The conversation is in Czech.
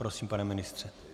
Prosím, pane ministře.